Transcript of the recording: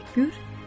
təşəkkür,